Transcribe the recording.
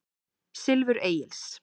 Silfur Egils.